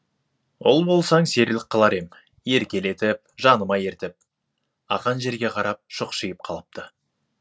ұл болсаң серілік қылар ем еркелетіп жаныма ертіп ақан жерге қарап шұқшиып қалыпты